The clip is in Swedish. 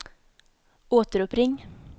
återuppring